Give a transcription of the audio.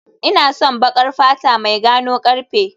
Ina son baƙar fata mai gano karfe